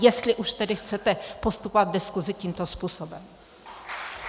Jestli už tedy chcete postupovat v diskuzi tímto způsobem.